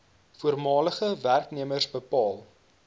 voormalige werknemers bepaal